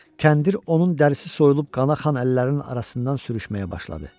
Kəndir onun dərsi soyulub qana xan əllərinin arasından sürüşməyə başladı.